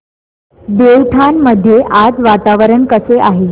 देवठाण मध्ये आज वातावरण कसे आहे